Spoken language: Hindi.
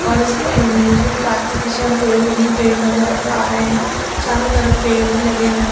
और इस प युमीयुजमीन पार्क के पीछे हम पेड़ ही पेड़ नजर द आ रहे हैं चारों तरफ पेड़ ही लगे हुए--